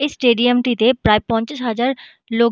এই স্টেডিয়াম -টিতে প্রায় পঞ্চাশ হাজার লোক--